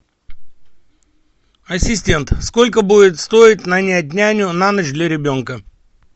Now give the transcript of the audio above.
ассистент сколько будет стоить нанять няню на ночь для ребенка